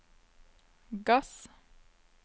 gass